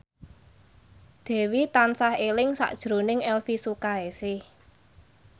Dewi tansah eling sakjroning Elvi Sukaesih